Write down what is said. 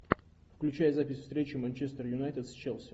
включай запись встречи манчестер юнайтед с челси